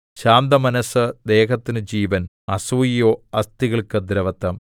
ശാന്തമനസ്സ് ദേഹത്തിന് ജീവൻ അസൂയയോ അസ്ഥികൾക്ക് ദ്രവത്വം